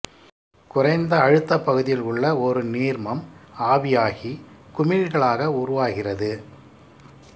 குறைந்த அழுத்தப் பகுதியில் உள்ள ஒரு நீர்மம் ஆவியாகி குமிழ்களாக உருவாகிறது